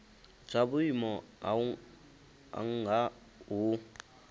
zwa vhuimo ha nha hu